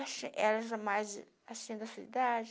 Elas eram mais assim da sua idade.